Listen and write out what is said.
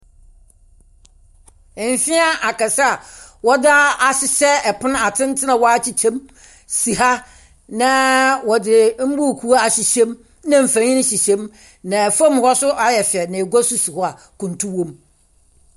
Mfeaa akɛse a wɔdze ahyehyɛ pon a wɔakyekyɛ mu si ha, na wɔdze mbuukuu ahyehyɛ mu na mfonyin hyehyɛ mu, na famu hɔ so ayɛ fɛw na egua so si hɔ a kuntu wɔ mu.